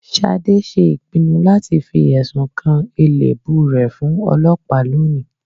sádé ṣe ìpìnnu láti fí esún kan elèbú re fún ọ̀lopáá lóni